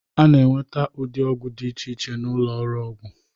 A na-enweta ụdị ọgwụ dị iche iche n'ụlọ ọgwụ.